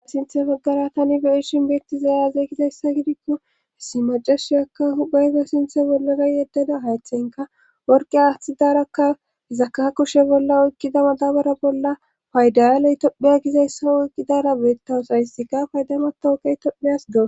Sinthe baggara tani be'ishin beetti zayazey gizayssa gidikko hissi macashiyaka hubayge sinthe bollara yeddada haytheynka worqe aaththidarakka hizaka kushe bolla oykkida madabara bolla paydayaley tommiya gizayssa oyqqidara beettawusayisika paydamata oqey tomiyas doo.